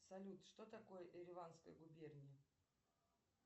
салют что такое эриванская губерния